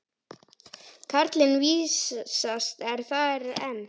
Karlinn vísast er þar enn.